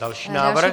Další návrh.